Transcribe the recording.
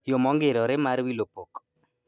Yoo mongirore marv wilo pok